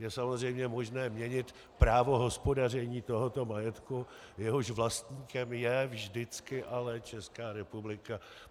Je samozřejmě možné měnit právo hospodaření tohoto majetku, jehož vlastníkem je vždycky ale Česká republika.